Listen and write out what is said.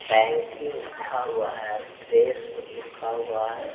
Bank की लिखा हुआ है फ्रेश लिखा हुआ है।